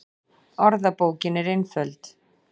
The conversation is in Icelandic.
Orðabókin er einföld